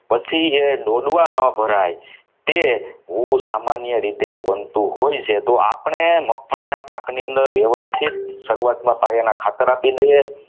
એ દોડવા ન ભરાય તે હું સામાન્ય રીતે બનતું હોય છે તો આપણે મગફળીના પાકની અંદર વ્યવસ્થિત શરૂઆતની અંદર પાયાના ખાતર આપી દઈએ